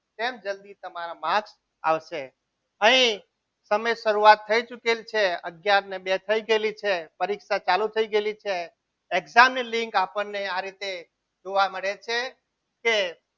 કેમ જલ્દી તમારા marks આવશે અહીં તમે શરૂઆત થઈ ચૂકેલ છે અગિયાર અને બે થઈ ગયેલી છે પરીક્ષા ચાલુ થઈ ગયેલી છે exam ની લીંક આપણને આ રીતે જોવા મળે છે. કે